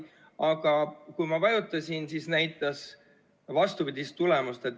Aga kui ma vajutasin, siis näitas vastupidist tulemust.